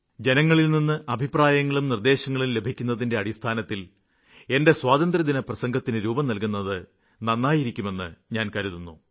ജനങ്ങളില്നിന്ന് അഭിപ്രായങ്ങളും നിര്ദ്ദേശങ്ങളും ലഭിക്കുന്നതിന്റെ അടിസ്ഥാനത്തില് എന്റെ സ്വാതന്ത്ര്യദിനപ്രസംഗത്തിന് രൂപം നല്കുന്നത് നന്നായിരിക്കുമെന്ന് ഞാന് കരുതുന്നു